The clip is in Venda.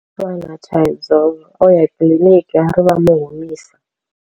Thaidzo oya kiḽiniki ari vha mu humisa.